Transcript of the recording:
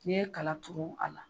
Ni ye kala turu a la.